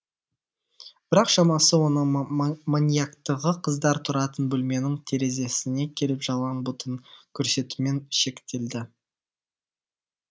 бірақ шамасы оның маньяктығы қыздар тұратын бөлменің терезесіне келіп жалаң бұтын көрсетумен шектелді